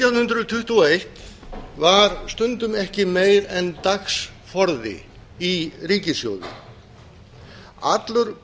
nítján hundruð tuttugu og eitt var stundum ekki meira en dagsforði í ríkissjóði allur